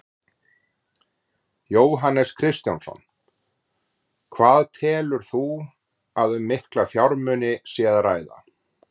Jóhannes Kristjánsson: Hvað telur þú að um mikla fjármuni sé að ræða?